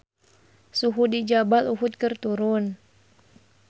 Suhu di Jabal Uhud keur turun